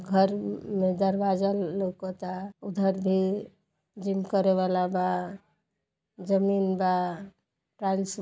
घर में दरवाजा लउकता। उधर भी जिम करे वाला बा। जमीन बा। टाइल्स --